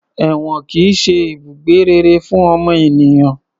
Èwọ̀n kìí ṣe ibùgbé rere fún ọmọ ènìyàn